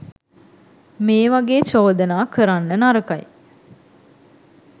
මේ වගේ චෝදනා කරන්න නරකයි.